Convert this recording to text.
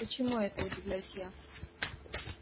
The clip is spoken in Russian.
почему это удивляюсь я